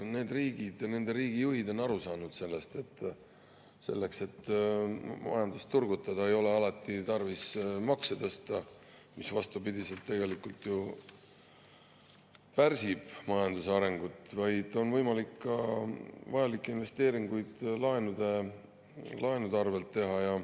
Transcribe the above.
Need riigid ja nende riikide juhid on aru saanud, et selleks, et majandust turgutada, ei ole alati tarvis makse tõsta, mis vastupidiselt tegelikult ju pärsib majanduse arengut, vaid on võimalik teha vajalikke investeeringuid laenude arvel.